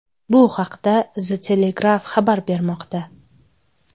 Bu haqda The Telegraph xabar bermoqda .